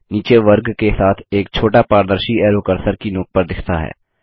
नीचे वर्ग के साथ एक छोटा पारदर्शी एरो कर्सर की नोक पर दिखता है